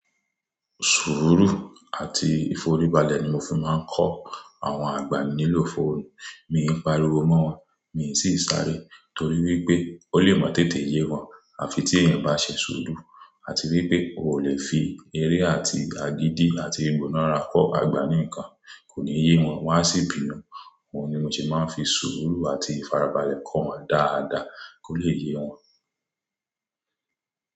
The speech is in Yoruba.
Sùúrù àti ìforíbalẹ̀ ni mo fi máa ń kọ́ àwọn àgbà nílò fóònù. Mi ò'n pàríwo mọ́ wọn, mi ò sì ń sáré torí wípé ó lè mọ tètè yé wọn. Àfi tí èèyàn bá ṣe sùúrù àti wípé o ò lè fi eré àti àgìdì àti egbò náà ra kọ́ àgbà ní nǹkan, kò ní yé wọn. Wọ́n á sì bínú Òun ni mo ṣe máa ń fi sùúrù àti ìfarabalẹ̀ kọ́ wọn dáadáa kó lè yé wọn.